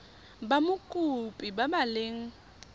ba mokopi ba ba leng